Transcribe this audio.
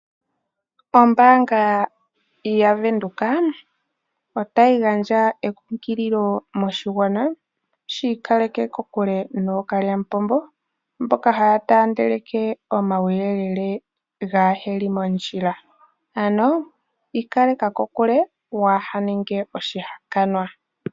Ombaanga yaVenduka otayi gandja enkunkililo moshigwana shi ikaleke kokule nookalya mupombo mboka haa taandeleke omauyelele kaage li mondjila ano ikaleka kokule waaha ninge oshihakanwa.